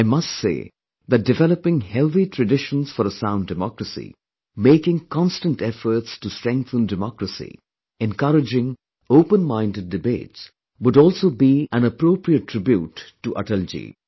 I must say that developing healthy traditions for a sound democracy, making constant efforts to strengthen democracy, encouraging openminded debates would also be aappropriate tribute to Atalji